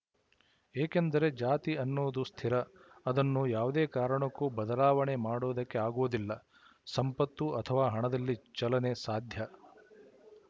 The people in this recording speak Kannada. ಏಕೆಂದರೆ ಜಾತಿ ಎನ್ನುವುದು ಸ್ಥಿರ ಅದನ್ನು ಯಾವುದೇ ಕಾರಣಕ್ಕೂ ಬದಲಾವಣೆ ಮಾಡುವುದಕ್ಕೆ ಆಗುವುದಿಲ್ಲ ಸಂಪತ್ತು ಅಥವಾ ಹಣದಲ್ಲಿ ಚಲನೆ ಸಾಧ್ಯ